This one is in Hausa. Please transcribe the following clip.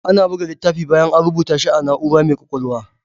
Ana buga littafi bayan A rubata shi a na'urar mai kwakwalwa